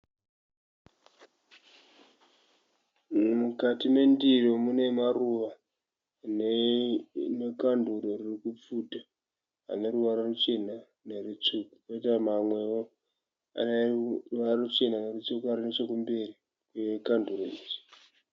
Mukati mendiro mune maruva nekanduru ririkupfuta aneruvara ruchena nerusvuku. Poita mamwewo ane ruvara ruchena nerusvuku ari nechekumberi kwekanduru iri.